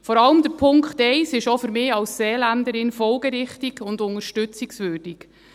Vor allem ist der Punkt 1 auch für mich als Seeländerin folgerichtig und unterstützungswürdig.